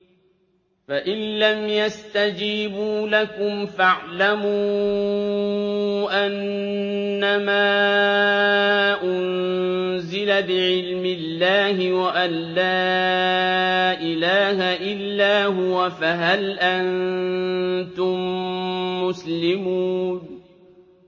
فَإِلَّمْ يَسْتَجِيبُوا لَكُمْ فَاعْلَمُوا أَنَّمَا أُنزِلَ بِعِلْمِ اللَّهِ وَأَن لَّا إِلَٰهَ إِلَّا هُوَ ۖ فَهَلْ أَنتُم مُّسْلِمُونَ